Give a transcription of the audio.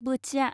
बोथिया